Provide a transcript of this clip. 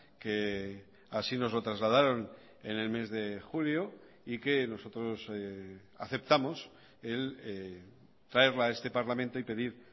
que así nos lo trasladaron en el mes de julio y que nosotros aceptamos traerla a este parlamento y pedir